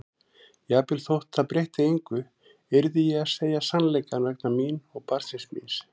Jafnvel þótt það breytti engu yrði ég að segja sannleikann vegna mín og barnsins míns.